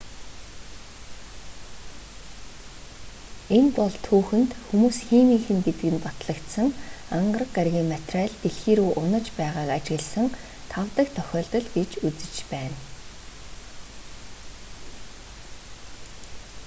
энэ бол түүхэнд хүмүүс химийнх гэдэг нь батлагдсан ангараг гарагийн материал дэлхий рүү унаж байгааг ажигласан тав дахь тохиолдол гэж үзэж байна